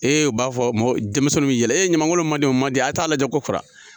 u b'a fɔ mɔɔw denmisɛnninw bɛ yɛlɛ ɲamangolo mɔndenw mɔndenw a ye taa lajɛ kokura.